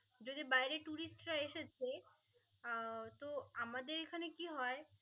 যদি বাইরে tourist রা এসেছে আহ তো আমাদের এখানে কি হয়